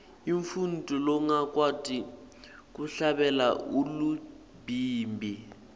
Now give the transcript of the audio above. umuntfu longakwati kuhlabela ulibhimbi